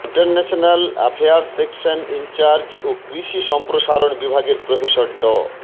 international affairs section incharge ও কৃষি সম্প্রসারণ বিভাগের প্রফেসর ড